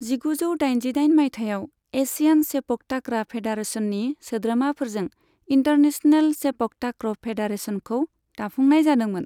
जिगुजौ दाइजिदाइन माइथायाव, एशियान सेपकटाक्रा फेडारेशननि सोद्रोमाफोरजों इन्टारनेशनेल सेपकटाक्र' फेडारेशनखौ दाफुंनाय जादोंमोन।